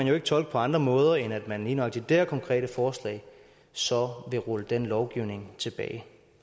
jo ikke tolkes på andre måder end at man lige nøjagtig med her konkrete forslag så vil rulle den lovgivning tilbage